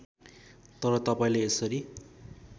तर तपाईँले यसरी